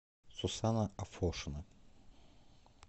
сусанна афошина